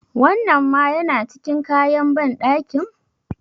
Wannan ma yana cikin kayan banɗakin?